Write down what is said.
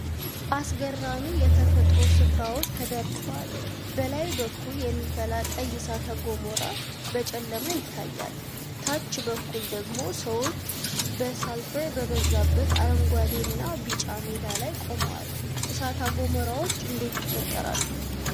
አስገራሚ የተፈጥሮ ስፍራዎች ተደርድረዋል። በላይ በኩል የሚፈላ ቀይ እሳተ ገሞራ በጨለማ ይታያል፣ ታች በኩል ደግሞ ሰዎች በሰልፈር በበዛበት አረንጓዴና ቢጫ ሜዳ ላይ ቆመዋል። እሳተ ገሞራዎች እንዴት ይፈጠራሉ?